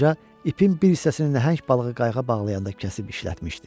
Qoca ipin bir hissəsini nəhəng balığı qayığa bağlayanda kəsib işlətmişdi.